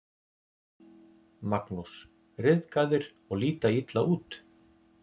Magnús: Ryðgaðir og líta illa út?